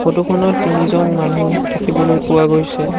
Photo খনত তিনিজন মানুহ দেখিবলৈ পোৱা গৈছে।